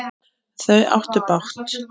Þau áttu bágt!